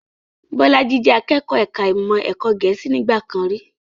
Bolaji jẹ akẹ́kọ̀ọ́ ẹ̀ka ìmọ̀ ẹ̀kọ́ Gẹ̀ẹ́sì nígbà kan rí